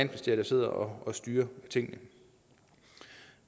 der sidder og styrer tingene